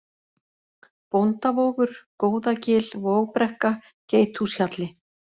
Bóndavogur, Góðagil, Vogbrekka, Geithúshjalli